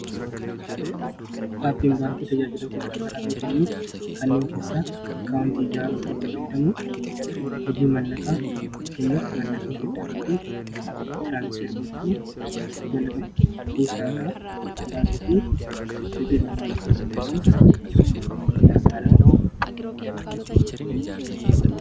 Aapiin baankii tajaajilota garagaraa ni kenne kanneen keessaa akka akaaawonti jaaruu ittiifadamu hojii mallakaa gaggenyaaf mallaqa geddaruu fi tiraansferbochuu mallaka fuusaaraa baasuu fi liqii barbaado fi obeessuufi gargaara.